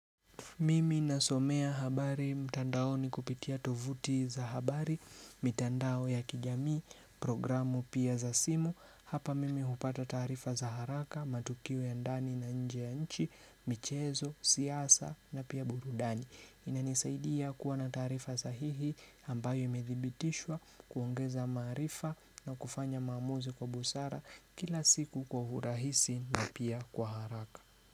Mimi nasomea habari, mtandaoni kupitia tovuti za habari, mitandao ya kijamii, programu pia za simu hapa mimi hupata tarifa za haraka, matukio ya ndani na inje ya nchi, michezo, siasa na pia burudani inanisaidia kuwa na tarifa sahihi. Ambayo imedhibitishwa, kuongeza marifa na kufanya maamuzi kwa busara kila siku kwa urahisi na pia kwa haraka.